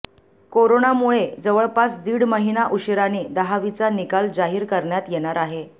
कोरोनामुळे जवळपास दीड महिना उशिराने दहावीचा निकाल जाहीर करण्यात येणार आहे